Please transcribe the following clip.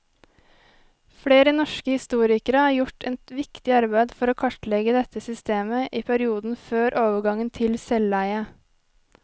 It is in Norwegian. Flere norske historikere har gjort et viktig arbeid for å kartlegge dette systemet i perioden før overgangen til selveie.